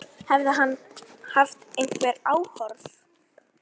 Hefði hann haft einhver áform.